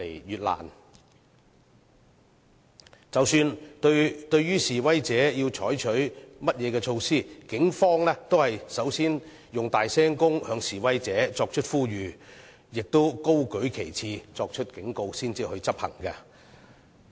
然而，即使要對示威者採取甚麼措施，警方也會先以擴音器向示威者作出呼籲，亦會先高舉旗幟作警告，然後才會執行。